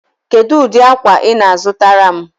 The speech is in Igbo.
Kedụ ụdị akwa ị na-azụtara m?